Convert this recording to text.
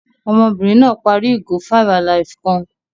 Ọmọbìnrin náà parí ìgò five-alive kan.